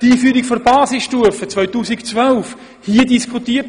2012 wurde die Einführung der Basisstufe hier diskutiert.